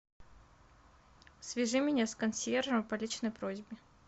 свяжи меня с консьержем по личной просьбе